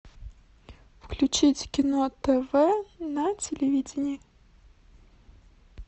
включить кино тв на телевидении